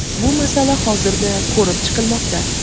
bu masala hozirda ko‘rib chiqilmoqda.